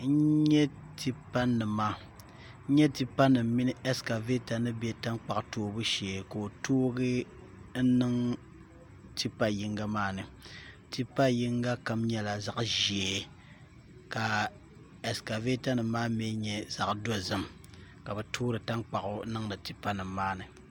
N nyɛ tipa nim mini ɛskavɛta ni bɛ tankpaɣu toobu shee ka o toogi n niŋ tipa yinga maa ni tipa yinga kam nyɛla zaɣ ʒiɛ ka ɛskavɛta nim maa mii nyɛ zaɣ dozim ka bi toori tankpaɣu niŋdi tipa nim maa ni